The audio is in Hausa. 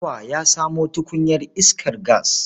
Bawa ya samo tukunyar iskar gas.